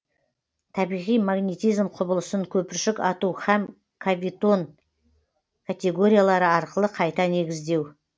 табиғи магнитизм құбылысын көпіршік ату һәм кавитон категориялары арқылы қайта негіздеу